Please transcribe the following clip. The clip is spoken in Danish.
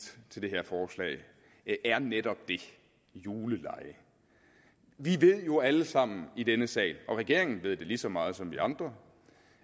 til det her forslag er netop det julelege vi ved jo alle sammen i denne sal regeringen ved det lige så meget som vi andre